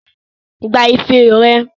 Gba ife rẹ!